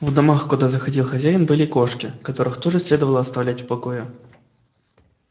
в домах куда заходил хозяин были кошки которых тоже следовало оставлять в покое